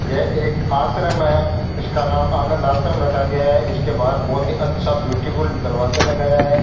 यह एक आश्रम है इसका नाम आनंद आश्रम रखा गया है इसके बाहर बहोत ही अच्छा ब्यूटीफुल दरवाजा लगाया है।